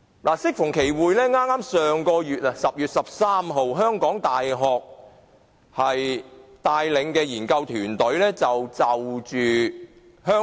香港大學研究團隊在10月13日發表有關因應香